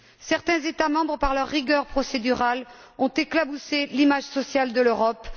Certains États membres, par leur rigueur procédurale, ont éclaboussé l'image sociale de l'Europe.